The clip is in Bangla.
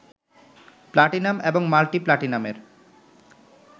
প্লাটিনাম এবং মাল্টি প্লাটিনামের